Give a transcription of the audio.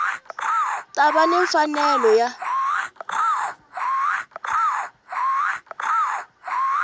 ta va ni mfanelo ya